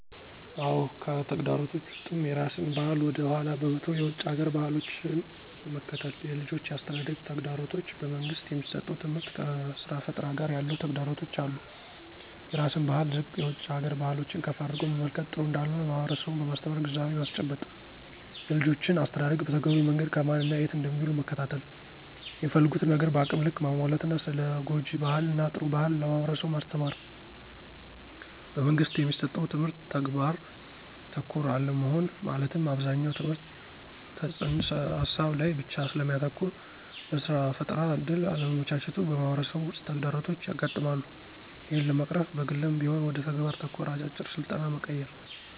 አዎ! ከተግዳሮቶች ውስጥም የራስን ባህል ወደ ኃላ በመተው የውጭ ሀገር ባህሎችን መከተል፣ የልጆች የአስተዳደግ ተግዳሮቶች፣ በመንግስት የሚሠጠው ትምህርት ከስራ ፈጠራ ጋር ያለው ተግዳሮቶች አሉ። -የራስን ባህል ዝቅ የውጭ ሀገር ባህሎችን ከፍ አድርጎ መመልከት ጥሩ እንዳልሆነ ማህበረሠቡን በማስተማር ግንዛቤ ማስጨበጥ። -የልጆችን አስተዳደግ በተገቢው መንገድ ከማን እና የት እንደሚውሉ መከታተል፣ የሚፈልጉትን ነገር በአቅም ልክ ማሟላት እና ስለ ጉጅ ባህል እና ጥሩ ባህል ለማህበረሠቡ ማስተማር። - በመንግስት የሚሠጠው ትምህርት ተግባር ተኮር አለመሆን መለትም አብዛኛው ትምህርት ተፅንስ ሀሳብ ላይ ብቻ ስለሚያተኩር ለስራ ፈጠራ እድል አለማመቻቸቱ በማህበረሠቡ ውስጥ ተግዳሮቶች ያጋጥማሉ። ይህን ለመቅረፍ በግልም ቢሆን ወደ ተግባር ተኮር አጫጭር ስልጠና መቀየር።